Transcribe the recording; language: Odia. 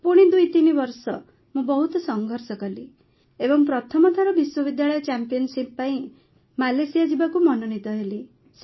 ପୁଣି ୨୩ ବର୍ଷ ମୁଁ ବହୁତ ସଂଘର୍ଷ କଲି ଏବଂ ପ୍ରଥମ ଥର ବିଶ୍ୱବିଦ୍ୟାଳୟ ଚାମ୍ପିଅନ୍ସିପ୍ ପାଇଁ ମାଲେସିଆ ଯିବାକୁ ମନୋନୀତ ହେଲି